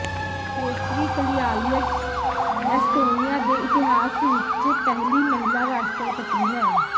ਕੇਸਟਰੀ Kaljulaid Estonia ਦੇ ਇਤਿਹਾਸ ਵਿਚ ਪਹਿਲੀ ਮਹਿਲਾ ਰਾਸ਼ਟਰਪਤੀ ਹੈ